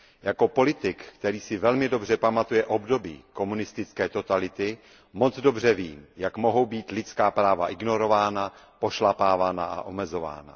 Jako politik, který si velmi dobře pamatuje období komunistické totality, moc dobře vím, jak mohou být lidská práva ignorována, pošlapávána a omezována.